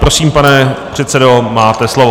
Prosím, pane předsedo, máte slovo.